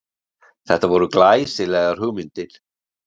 Þetta voru glæsilegar hugmyndir